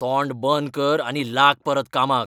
तोंड बंद कर आनी लाग परत कामाक!